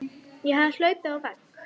Ég hafði hlaupið á vegg.